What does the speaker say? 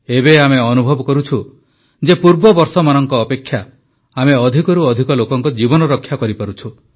ଏବେ ଆମେ ଅନୁଭବ କରୁଛୁ ଯେ ପୂର୍ବ ବର୍ଷମାନଙ୍କ ଅପେକ୍ଷା ଆମେ ଅଧିକରୁ ଅଧିକ ଲୋକଙ୍କ ଜୀବନ ରକ୍ଷା କରିପାରୁଛୁ